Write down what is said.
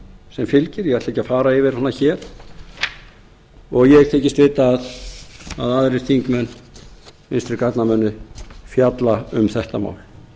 sem fylgir ég ætla ekki að fara yfir hana hér og ég þykist vita að aðrir þingmenn vinstri grænna muni fjalla um þetta mál